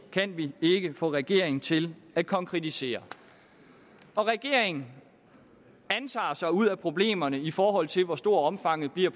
kan vi ikke få regeringen til at konkretisere regeringen antager sig ud af problemerne i forhold til hvor stort omfanget bliver